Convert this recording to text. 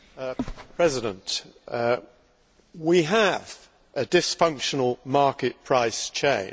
Mr President, we have a dysfunctional market price chain.